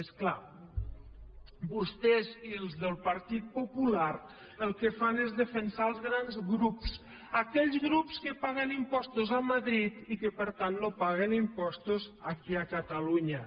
és clar vostès i els del partit popular el que fan és defensar els grans grups aquells grups que paguen impostos a madrid i que per tant no paguen impostos aquí a catalunya